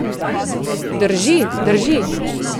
Drži, drži.